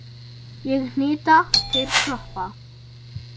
Ég hnita, þeir kroppa.